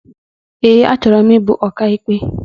Eé, achọrọ m ịbụ ọkaikpe.